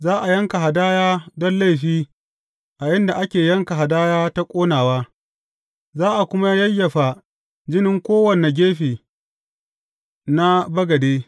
Za a yanka hadaya don laifi a inda ake yanka hadaya ta ƙonawa, za a kuma yayyafa jinin a kowane gefe na bagade.